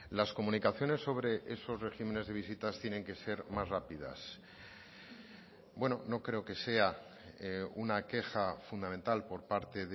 las comunicaciones sobre esos regímenes de visitas tienen que ser más rápidas bueno no creo que sea una queja fundamental por parte